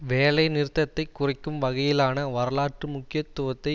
வேலை நிறுத்தத்தை குறைக்கும் வகையிலான வரலாற்று முக்கியத்துவத்தை